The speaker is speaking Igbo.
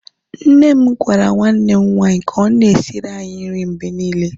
nne m gwara nwanne m nwanyi ka o na-esiri anyi nri mgbe niile